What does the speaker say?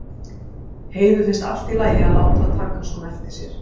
Heiðu finnst allt í lagi að láta taka svona eftir sér.